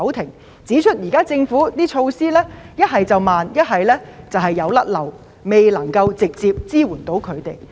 他們指出，政府現時的措施不是過於緩慢，便是有遺漏，未能直接向他們提供支援。